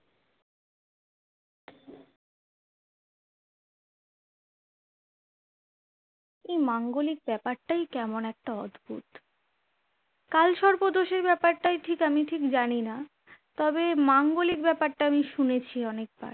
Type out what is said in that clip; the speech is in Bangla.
এই মাঙ্গলিক ব্যাপারটাই কেমন একটা অদ্ভুত কালসর্প দোষের ব্যাপারটা ঠিক আমি ঠিক জানি না তবে মাঙ্গলিক ব্যাপারটা আমি শুনেছি অনেকবার